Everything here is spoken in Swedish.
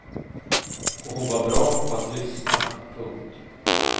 Och hon var bra på att lyssna. punkt